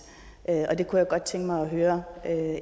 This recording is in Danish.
jeg kunne godt tænke mig at høre